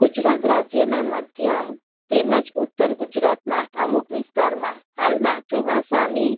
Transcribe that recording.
ગુજરાત રાજ્ય ના માધ્યમ તેમજ ઉત્તર ગુજરાત ના અમુક વિસ્તાર માં હાલ માં ચોમાસા ની